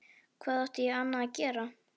Hvað átti ég annað að gera?